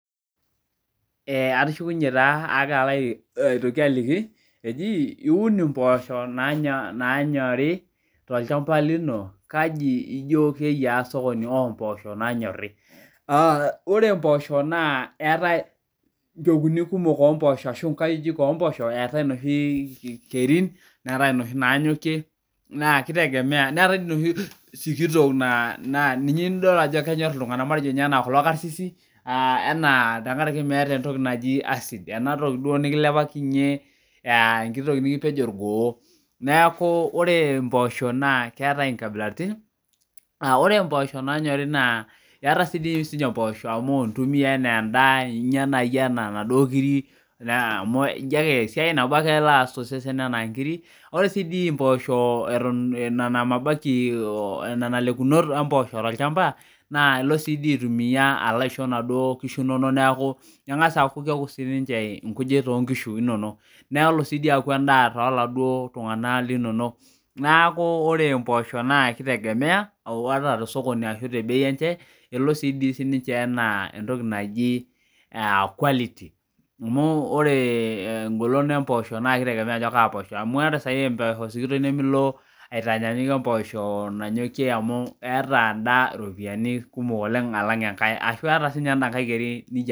Ee atushukunge alotu aliki iim impoosho tolchamba lino kaja ino keyia olchamba lombpoosho nanyori ore mpoosho na eetae mbekui kumok ashu nkajijik ompoosno eetae noshi pekui neetae nanyokie neetae kuna sikitok na ninche enyor ltunganak kuko karsirsi aa enaa meeta entoki nikilepalinye enkitoki mikipej orgoo neaku ore mpoosho kewta nkabilaitin ore mpoosho na nyori na intumia anaa endaa esiai nabo ake elo aas ana nkirik enalekimoto ompooso tolchamba neaku kengasa aaku esiai sidai tolchamba nelo siaki endaa toladuo tunganak linonok neaku ore mpoosho elo sininche anaa entoki naji quality amu ore engolon na kitegemea ajo kaa poosno amu ore emposho nanyori nimintanyannyukie entuleleli alang enkae ata enda Keri nijo